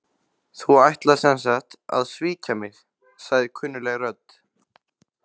Þú ætlar sem sagt að svíkja mig- sagði kunnugleg rödd.